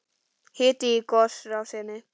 Hiti í gosrásinni